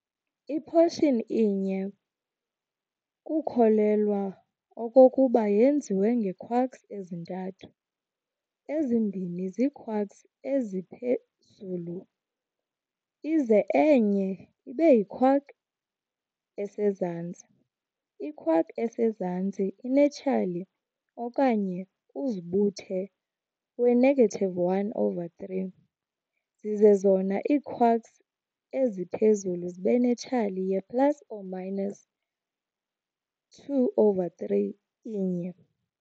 I-proton inye kukholelwa okokuba yenziwe ngee-quarks ezintathu, ezimbini ziiquarks-eziphezulu ize enye ibeyi-quark esezantsi. i-quark esezantsi inetshali okanye uzibuthe we-1, 3, zize zona ii-quarks eziphezulu zibenetshali ye-plus2, 3 inye.